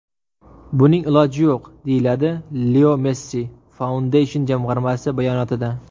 Buning iloji yo‘q”, deyiladi Leo Messi Foundation jamg‘armasi bayonotida.